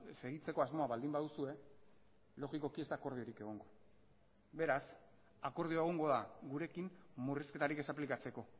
segitzeko asmoa baldin baduzue logikoki ez da akordiorik egongo beraz akordioa egongo da gurekin murrizketarik ez aplikatzeko